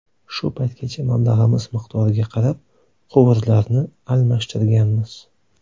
Shu paytgacha mablag‘imiz miqdoriga qarab quvurlarni almashtirganmiz.